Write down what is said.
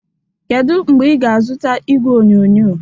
Kedu mgbe ị ga-azụta igwe onyonyo?